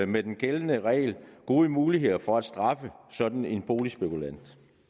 med den gældende regel gode muligheder for at straffe sådan en boligspekulant